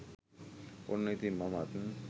ඔන්න ඉතින් මමත්